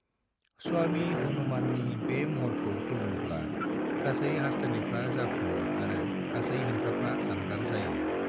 स्वामी हनुमाननि बे महरखौ खुलुमोब्ला गासै हास्थायनायफ्रा जाफुङो आरो गासै हेंथाफ्रा जानगार जायो।